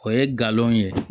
O ye galon ye